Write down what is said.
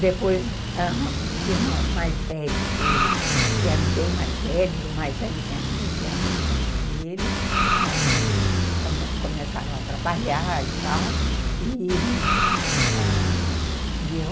Depois, os irmãos mais velhos dele, que eram bem mais velhos, o mais velho tinha quinze anos mais que ele, ãh, come ) começaram a trabalhar e tal, e ãh